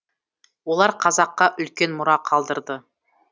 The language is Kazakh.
олар қазаққа үлкен мұра қалдырды